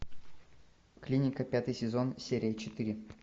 клиника пятый сезон серия четыре